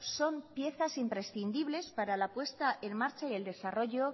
son piezas imprescindibles para la apuesta en marcha y el desarrollo